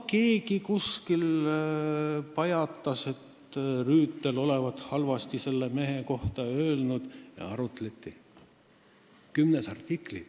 Keegi kuskil pajatas, et Rüütel olevat selle mehe kohta halvasti öelnud, ja selle üle arutleti kümnes artiklis.